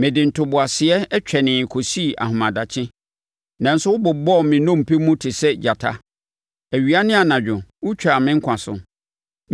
Mede ntoboaseɛ twɛneeɛ kɔsii ahemadakye, nanso wɔbobɔɔ me nnompe mu te sɛ gyata; awia ne anadwo wotwaa me nkwa so.